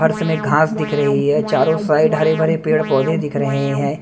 फर्श में घास दिख रही है चारों साइड हरे भरे पेड़ पौधे दिख रहे हैं।